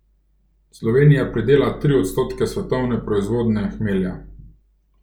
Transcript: Slovenija pridela tri odstotke svetovne proizvodnje hmelja.